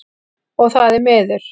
Og það er miður.